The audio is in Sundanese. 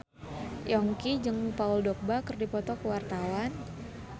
Yongki jeung Paul Dogba keur dipoto ku wartawan